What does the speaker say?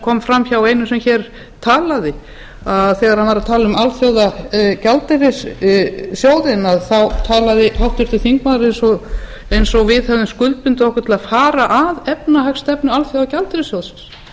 kom frá einum sem hér talaði þegar hann var að tala um alþjóðagjaldeyrissjóðinn talaði háttvirtur þingmaður eins og við hefðum skuldbundið okkur til að fara efnahagsstefnu alþjóðagjaldeyrissjóðsins